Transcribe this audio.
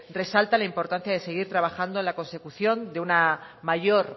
resalta la importancia de seguir trabajando de la consecución de una mayor